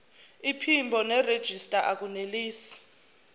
iphimbo nerejista akunelisi